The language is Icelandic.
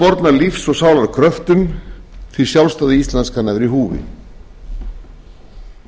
lífs og sálar kröftum því sjálfstæði íslands kann að vera í húfi